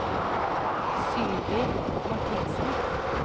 Sylvi Marthinsen